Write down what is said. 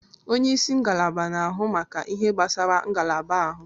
Onye isi ngalaba na-ahụ maka ihe gbasara ngalaba ahụ